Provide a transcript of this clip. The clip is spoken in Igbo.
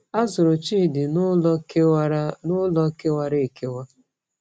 A zụrụ Chidi n’ụlọ kewara n’ụlọ kewara ekewa.